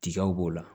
Tigaw b'o la